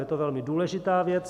Je to velmi důležitá věc.